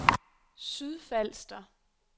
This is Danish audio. Sydfalster